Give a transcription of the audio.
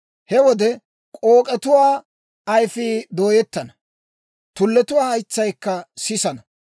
He wode, k'ook'etuwaa ayfii dooyettana; tulletuwaa haytsaykka sisana.